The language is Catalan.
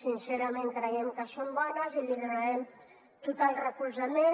sincerament creiem que són bones i hi donarem total recolzament